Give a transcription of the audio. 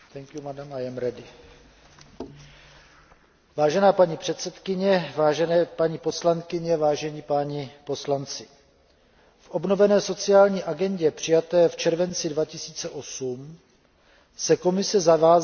Vážená paní předsedkyně, vážené paní poslankyně, vážení páni poslanci, v obnovené sociální agendě přijaté v červenci 2008 se Komise zavázala zabývat se potřebami stárnoucího obyvatelstva.